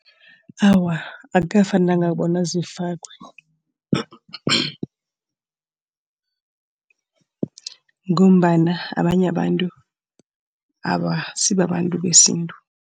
Awa akukafanelanga bona zifakwe ngombana abanye abantu abasisi babantu besintu.